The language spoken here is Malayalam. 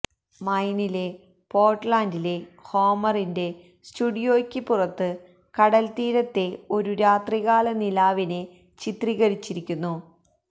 മൈനിലെ പോർട്ട്ലാൻഡിലെ ഹോമറിന്റെ സ്റ്റുഡിയോയ്ക്ക് പുറത്ത് കടൽത്തീരത്തെ ഒരു രാത്രികാല നിലാവിനെ ചിത്രീകരിച്ചിരിക്കുന്നു